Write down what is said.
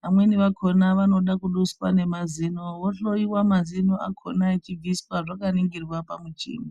vamweni vakona vanode kuduswa ngemazino vohloyiwa mazino akona achiduswa vakaningirwa pamuchini.